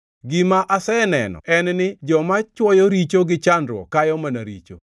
Gima aseneno en ni joma chwoyo richo gi chandruok kayo mana richo.